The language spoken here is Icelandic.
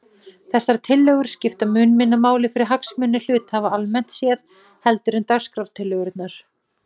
Þessar tillögur skipta mun minna máli fyrir hagsmuni hluthafa almennt séð heldur en dagskrártillögurnar.